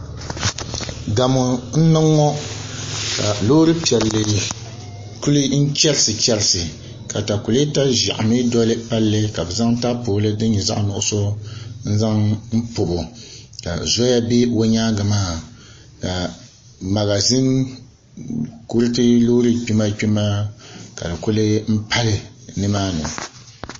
Gamu n niŋ ŋɔka loori piɛli kuli chɛrisi chɛrisi ka takulɛɛta zɛɣu mi doli palli ka bi zaŋ tapoli dini nyɛ zaɣi nuɣiso n zaŋ pɔbi o ka zoya bɛ o yɛangi maa ka magazin kuriti loori kpima kpima ka di kuli pali .